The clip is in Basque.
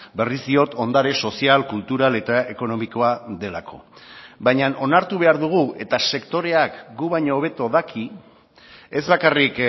berriz diot ondare sozial kultural eta ekonomikoa delako baina onartu behar dugu eta sektoreak gu baino hobeto daki ez bakarrik